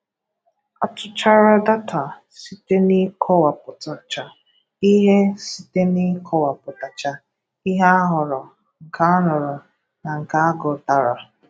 A tụchara data site n'ịkọwapụtacha ihe site n'ịkọwapụtacha ihe a hụrụ, nke a nụrụ na nke a gụtara.